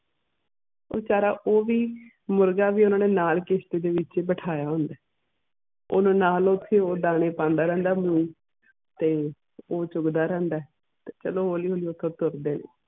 ਵਿਚਾਰਾ ਉਹ ਵੀ ਮੁਰਗਾ ਵੀ ਉਹਨਾਂ ਨੇ ਨਾਲ ਕਿਸ਼ਤੀ ਦੇ ਵਿਚ ਹੀ ਬਿਠਾਇਆ ਹੁੰਦਾ ਆ ਓਹਨੂੰ ਨਾਲ ਓਥੇ ਦਾਣੇ ਪਾਂਦਾ ਰਹਿੰਦਾ ਆ ਤੇ ਉਹ ਚੁਗਦਾ ਰਹਿੰਦਾ ਆ ਤੇ ਚਲੋ ਹੌਲੀ ਹੌਲੀ ਔਖਾ